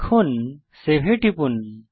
এখন সেভ এ টিপুন